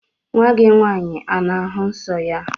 Nwa gị nwaanyị ana-ahụ nsọ ya?